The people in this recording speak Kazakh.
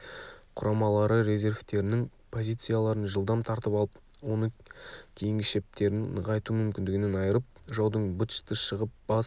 құрамалары резервтерінің позицияларын жылдам тартып алып оны кейінгішептерін нығайту мүмкіндігінен айырып жаудың быт-шыты шығып бас